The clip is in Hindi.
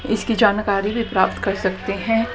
इसकी जानकारी भी प्राप्त कर सकते हैं।